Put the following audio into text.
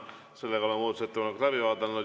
Sellega oleme muudatusettepanekud läbi vaadanud.